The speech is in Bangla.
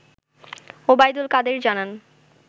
ওবায়দুল কাদের জানান